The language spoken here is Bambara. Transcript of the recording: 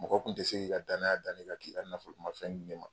Mɔgɔ tun tɛ se k'i ka dannya da ne kan k'i ka nafolomafɛn di ne ma